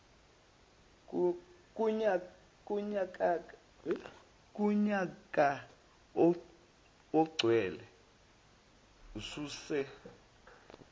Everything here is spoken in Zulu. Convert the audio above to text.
kunyaka ogcwele ususe